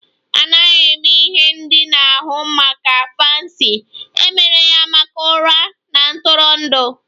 A naghị eme ihe ndina ahụ maka fancy, e mere ya maka ụra na ntụrụndụ